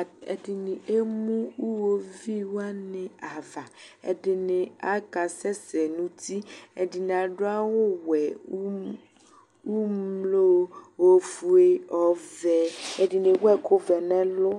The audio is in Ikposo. At ɛdɩnɩ emu iɣoviu wanɩ ava Ɛdɩnɩ akasɛsɛ nʋ uti, ɛdɩnɩ adʋ awʋwɛ, um umlo, ofue, ɔvɛ, ɛdɩnɩ ewu ɛkʋvɛ nʋ ɛlʋ